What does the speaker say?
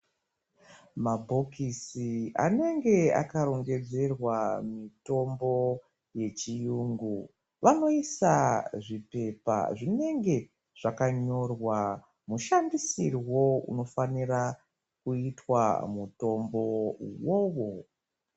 Mabhokisi anenge akarongedzerwa mitombo dzechirungu vanosisa zvipepa zvinenge zvakanyorwa mushandisirwo unofanirwa kuitwa mutombo uwowo.